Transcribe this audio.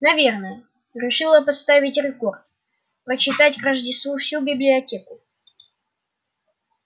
наверное решила поставить рекорд прочитать к рождеству всю библиотеку